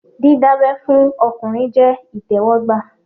Dídá abẹ́ fún ọkùnrin jẹ́ ìtẹ́wọ́gbà